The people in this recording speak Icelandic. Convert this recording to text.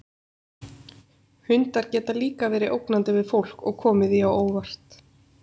Hundar geta líka verið ógnandi við fólk og komið því á óvart.